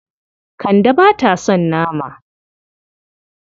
Kande ba ta son nama.